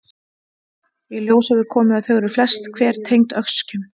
Í ljós hefur komið að þau eru flest hver tengd öskjum.